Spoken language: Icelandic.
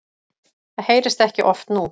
Það heyrist ekki oft nú.